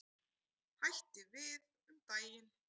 Hætti við um daginn.